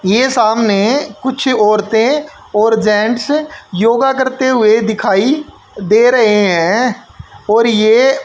ये सामने कुछ औरतें और जेंट्स योगा करते हुए दिखाई दे रहे हैं और ये--